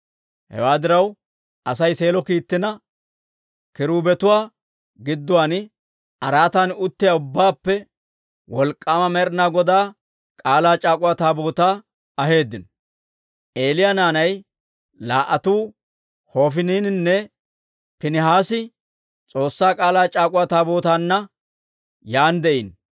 Hewaa diraw, Asay Seelo kiittina, kiruubetuwaa gidduwaan araatan uttiyaa ubbaappe Wolk'k'aama Med'inaa Godaa K'aalaa c'aak'uwa Taabootaa aheeddino. Eeliya naanay laa"atuu Hofiniininne Piinihaasi S'oossaa K'aalaa c'aak'uwa Taabootaanna yaan de'iino.